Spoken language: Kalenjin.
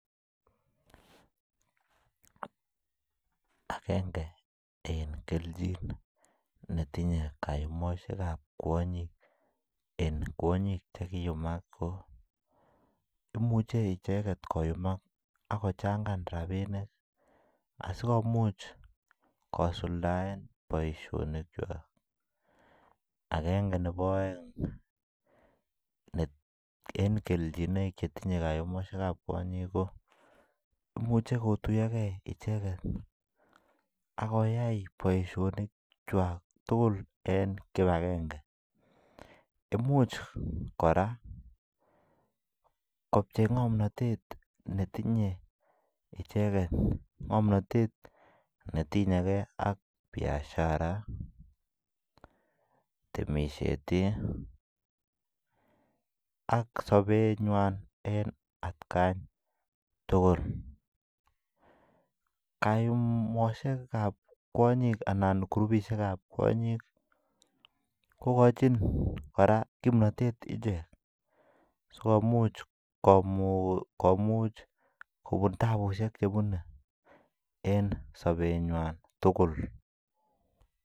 Agenge en kelchin netinye kayumosiek ab kwonyik en kwonyik Che kiiyumak ko imuche icheget koyumak ak kochangan rabinik asi komuch kosuldaen boisinik kwak age nebo aeng en kelchinoik chetinye kayumosiek ab kwonyik ko imuche kotuyoge icheget ak koyai boisionik tugul en kibagenge Imuch kora kopchei ngomnatet netinye icheget ngomnatet netinye ge ak Biashara temisiet ak sobenywan en atkan tugul kayumosiek ab kwonyik anan kirupisiek ab kwonyik kogochin kora ngomnatet ichek asi komuch kobun tapusiek Che bune en sobenywan tugul